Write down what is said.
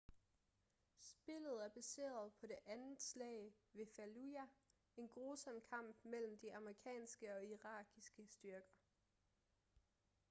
spillet er baseret på det andet slag ved fallujah en grusom kamp mellem de amerikanske og irakiske styrker